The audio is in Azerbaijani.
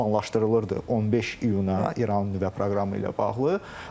Planlaşdırılırdı 15 iyuna İranın nüvə proqramı ilə bağlı.